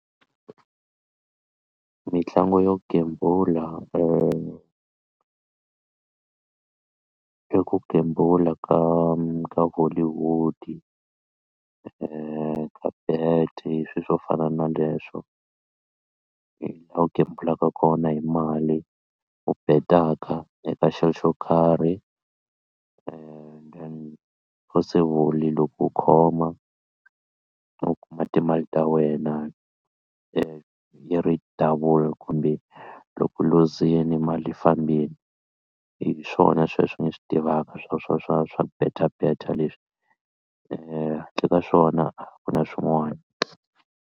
Mitlangu yo gembula i ku gembula ka ka hollywood ka bet swilo swo fana na leswo laha u gembulaka kona hi mali u betaka eka xilo xo karhi then possible loko u khoma u kuma timali ta wena yi ri double kumbe loko u luzile mali yi fambini hi swona sweswo ni swi tivaka swa swa swa swa beta beta leswi handle ka swona a ku na swin'wana.